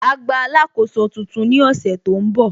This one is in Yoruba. Á gba alákóso tuntun ní ọ̀sẹ̀ tó ń bọ̀